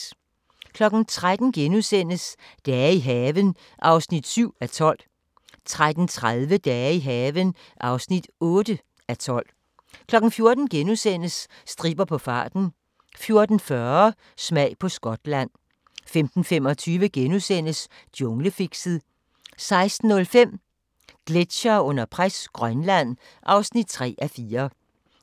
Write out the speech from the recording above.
13:00: Dage i haven (7:12)* 13:30: Dage i haven (8:12) 14:00: Stripper på farten * 14:40: Smag på Skotland 15:25: Junglefixet * 16:05: Gletsjere under pres – Grønland (3:4)